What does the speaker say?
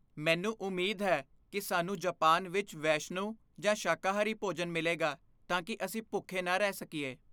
ਮੈਨੂੰ ਉਮੀਦ ਹੈ ਕਿ ਸਾਨੂੰ ਜਪਾਨ ਵਿੱਚ ਵੈਸ਼ਨੂੰ ਜਾਂ ਸ਼ਾਕਾਹਾਰੀ ਭੋਜਨ ਮਿਲੇਗਾ ਤਾਂ ਕਿ ਅਸੀਂ ਭੁੱਖੇ ਨਾ ਰਹਿ ਸਕੀਏ।